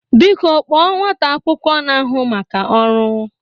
Biko kpọọ nwata akwụkwọ na-ahụ maka ọrụ!